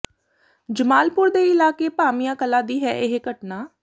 ਜਮਾਲਪੁਰ ਦੇ ਇਲਾਕੇ ਭਾਮੀਆ ਕਲਾਂ ਦੀ ਹੈ ਇਹ ਘਟਨਾ